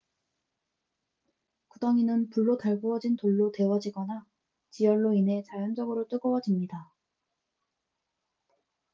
구덩이는 불로 달구어진 돌로 데워지거나 지열로 인해 자연적으로 뜨거워집니다